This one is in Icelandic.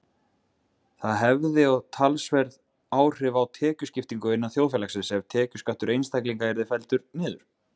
Það hefði og talsverð áhrif á tekjuskiptingu innan þjóðfélagsins ef tekjuskattur einstaklinga yrði felldur niður.